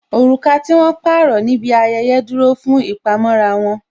Oruka tí wón pààrọ̀ níbi ayẹyẹ dúró fún ìpamọ́ra wọn